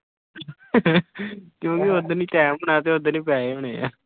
ਕਿਉਂਕਿ ਓਦਣ ਹੀ ਕਾਇਮ ਹੋਣਾ ਤੇ ਓਦਣ ਹੀ ਪੈਸੇ ਹੋਣੇ ਆਂ।